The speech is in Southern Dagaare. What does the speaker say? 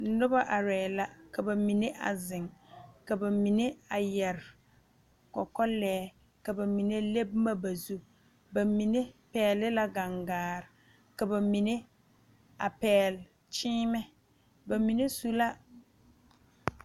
Noba arɛɛ la ka ba mine a zeŋ ka ba mine a yɛrɛ kɔkɔlɛɛ ka ba mine le boma ba zu ba mine pɛgele la gaŋgaa ka ba mine a pɛgele kyeemɛ ba mine su la